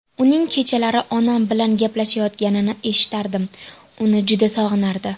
Uning kechalari onam bilan gaplashayotganini eshitardim, uni juda sog‘inardi.